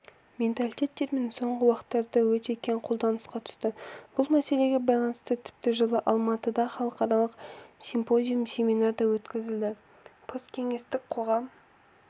менталитет термині соңғы уақыттарда өте кең қолданысқа түсті бұл мәселеге байланысты тіпті жылы алматыда халықаралық симпозиум-семинар да өткізілді посткеңестік коғам